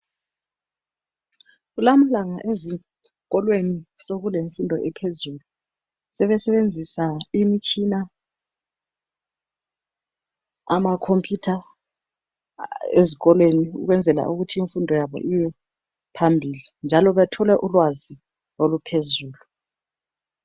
Kulamalanga ezikolweni sokulemfundo ephezulu sebesebenzisa imitshina amakhompuyutha ezikolweni ukwenzela ukuthi imfundo yabo iye phambili njalo bathole ulwazi oluphezulu